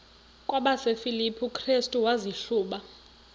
kwabasefilipi restu wazihluba